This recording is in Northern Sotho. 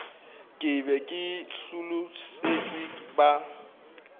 ke be ke hlolosetšwe ba